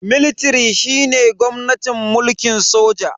Military shine gwamnatin mulkin sojoji.